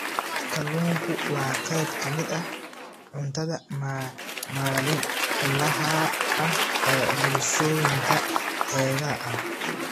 Kalluunku waa qayb ka mid ah cuntada maalinlaha ah ee bulshooyinka xeebaha ah.